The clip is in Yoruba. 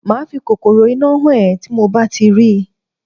Màá fi kòkòrò-iná hàn ẹ́ tí mo bá ti rí.